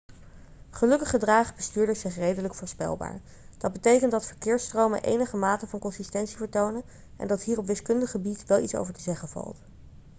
gelukkig gedragen bestuurders zich redelijk voorspelbaar dat betekent dat verkeersstromen enige mate van consistentie vertonen en dat hier op wiskundig gebied wel iets over te zeggen valt